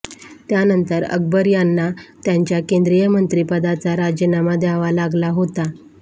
त्यानंतर अकबर यांना त्यांच्या केंद्रीय मंत्रीपदाचा राजिनामा द्यावा लागला होता